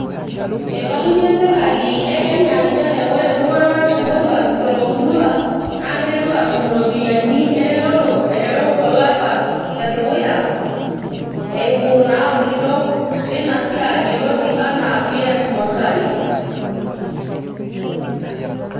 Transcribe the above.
eibalunyie serikali e kenya nchere ore iltung'anak moruak toomurua naa kiteru aatum iropiyiani eretoto aiteru olapa le dukuya eimu naa orkitok lina siai yioloti anaa ps motari.